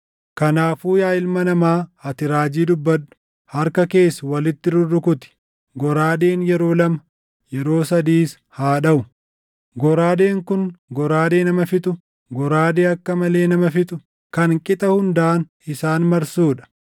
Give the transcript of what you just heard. “Kanaafuu yaa ilma namaa, ati raajii dubbadhu; harka kees walitti rurrukuti. Goraadeen yeroo lama, yeroo sadiis haa dhaʼu. Goraadeen kun goraadee nama fixu, goraadee akka malee nama fixu, kan qixa hundaan isaan marsuu dha.